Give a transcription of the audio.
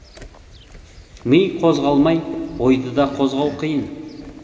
ми қозғалмай ойды да қозғау қиын